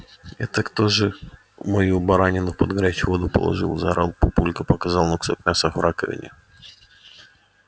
это кто же мою баранину под горячую воду положил заорал папулька показывая на кусок мяса в раковине